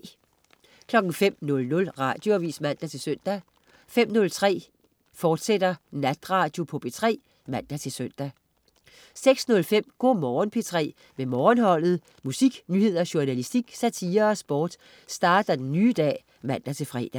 05.00 Radioavis (man-søn) 05.03 Natradio på P3, fortsat (man-søn) 06.05 Go' Morgen P3 med Morgenholdet. Musik, nyheder, journalistik, satire og sport starter den nye dag (man-fre)